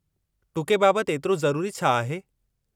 टुके बाबतु एतिरो ज़रूरी छा आहे?